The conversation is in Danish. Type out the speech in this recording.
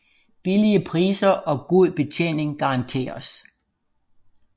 Billige Priser og god Betjening garanteres